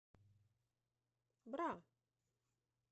бра